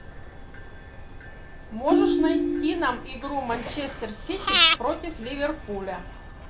можешь найти нам игру манчестер сити против ливерпуля